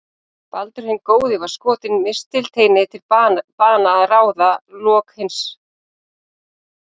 Baldur hinn góði var skotinn mistilteini til bana að ráði Loka hins lævísa.